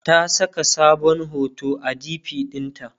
ta Saka sabon hoto a DP ɗinta